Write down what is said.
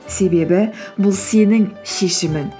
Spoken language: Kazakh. себебі бұл сенің шешімің